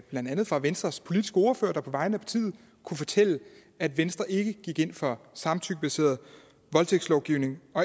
blandt andet fra venstres politiske ordfører der på vegne af partiet kunne fortælle at venstre ikke gik ind for samtykkebaseret voldtægtslovgivning